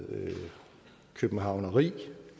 københavneri